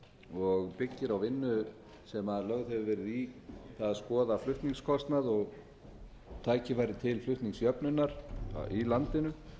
og byggir á vinnu sem lögð hefur verið í að skoða flutningskostnað og tækifæri til flutningsjöfnunar í landinu